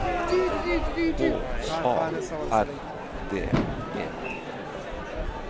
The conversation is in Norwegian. H A R D E